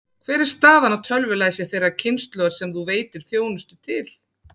Hver er staðan á tölvulæsi þeirrar kynslóðar sem þú veitir þjónustu til?